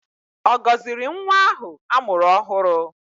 Ọ gọziri nwa ahụ a mụrụ ọhụrụ?